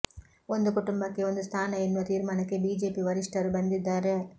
ಒಂದು ಕುಟುಂಬಕ್ಕೆ ಒಂದು ಸ್ಥಾನ ಎನ್ನುವ ತೀರ್ಮಾನಕ್ಕೆ ಬಿಜೆಪಿ ವರಿಷ್ಠರು ಬಂದಿದ್ದಾರೆ